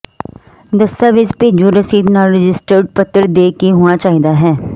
ਦਸਤਾਵੇਜ਼ ਭੇਜੋ ਰਸੀਦ ਨਾਲ ਰਜਿਸਟਰਡ ਪੱਤਰ ਦੇ ਕੇ ਹੋਣਾ ਚਾਹੀਦਾ ਹੈ